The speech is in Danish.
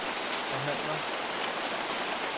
forhandler